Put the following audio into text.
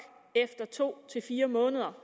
efter to fire måneder